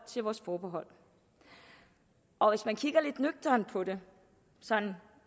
til vores forbehold og hvis man kigger lidt nøgternt på det